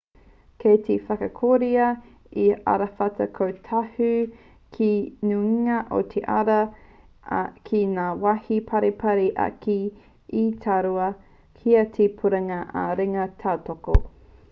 kei te whakatakotoria he arawhata kōhatu ki te nuinga o te ara ā ki ngā wāhi paripari ake he taura tīra hei puringa ā-ringa tautoko